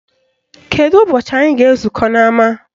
Kedu ụbọchị anyị ga-ezukọ n'ama